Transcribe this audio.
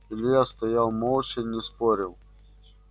илья стоял молча не спорил